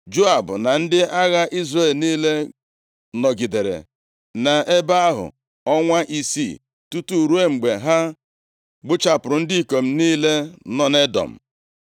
Joab na ndị agha Izrel niile nọgidere nʼebe ahụ ọnwa isii, tutu ruo mgbe ha gbuchapụrụ ndị ikom niile nọ nʼEdọm.